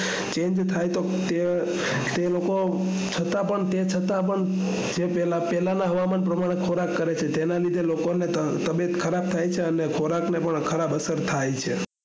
change થયા તો છતાં પણ પહેલાના હવામાન ના હિસાબે ખોરાક કરે છે જેના લીધે લોકોને તબેટ ખરાબ થાય છે અને ખોરાક ને પણ અસર થાય છે